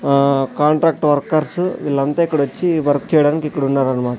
ఆ contract workers వీళ్ళంతా ఇక్కడొచ్చి వర్క్ చేయడానికి ఇక్కడున్నారన్నమా--